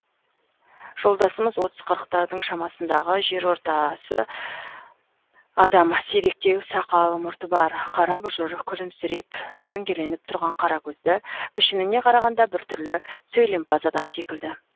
жолдасымыз отыз қырықтардың шамасындағы жер ортасы адам сиректеу сақал мұрты бар қара бұжыр күлімсіреп дөңгеленіп тұрған қара көзді пішініне қарағанда бір түрлі сөйлемпаз адам секілді